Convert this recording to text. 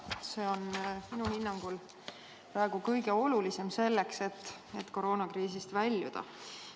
See on minu hinnangul praegu kõige olulisem selleks, et koroonakriisist väljuda.